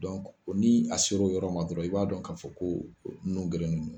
ni a sera o yɔrɔ ma dɔrɔn i b'a dɔn k'a fɔ ko nun gerennen don